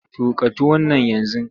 Tuƙa tuwon nan yanzu!